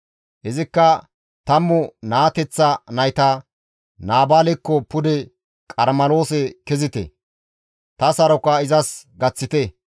Izikka tammu naateththa nayta, «Naabaalekko pude Qarmeloose kezite; ta saroka izas gaththite.